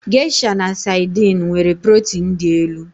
Geisha na Saidin nwere protin dị elu.